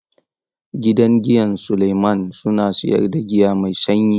Gidan giyan Suleman suna siyar da giya mai sanyi.